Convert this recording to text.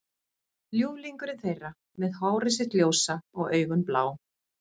Ljúflingurinn þeirra með hárið sitt ljósa og augun blá.